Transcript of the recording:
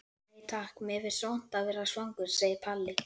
Nei takk, mér finnst vont að vera svangur, segir Palli.